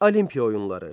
Olimpiya oyunları.